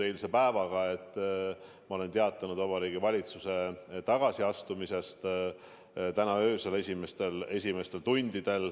Ma teatasin täna öösel, uue kuupäeva esimestel tundidel Vabariigi Valitsuse tagasiastumisest.